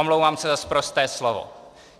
- Omlouvám se za sprosté slovo.